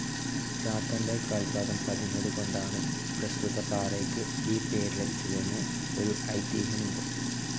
ചാത്തൻ്റെ കാൽപ്പാദം പതിഞ്ഞതുകൊണ്ടാണ് പ്രസ്തുത പാറയ്ക്കു ഈ പേര് ലഭിച്ചതെന്ന് ഒരു ഐതീഹ്യമുണ്ട്.